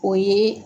O ye